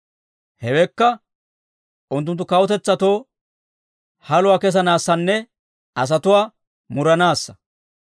Hewekka, unttunttu kawutetsatoo, haluwaa kessanaassanne asatuwaa muranaassa.